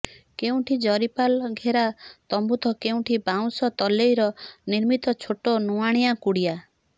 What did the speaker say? କେଉଁଠି ଜରିପାଲ ଘେରା ତମ୍ବୁ ତ କେଉଁଠି ବାଉଁଶ ତଲେଇରେ ନିର୍ମିତ ଛୋଟ ନୁଆଁଣିଆ କୁଡ଼ିଆ